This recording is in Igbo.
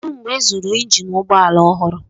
Kedu mgbe ịzụrụ injin ụgbọ ala ọhụrụ?